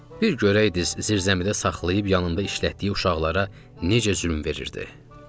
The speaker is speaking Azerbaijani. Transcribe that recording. Bir görəydiz, zirzəmidə saxlayıb yanında işlətdiyi uşaqlara necə zülm verirdi.